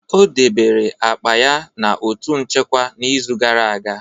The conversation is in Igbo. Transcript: O debere akpa ya na otu nchekwa n'izu gara aga.